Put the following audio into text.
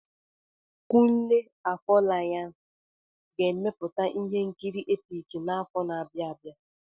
Kunle Afolayan ga-emepụta ihe nkiri epik n'afọ na-abịa abịa.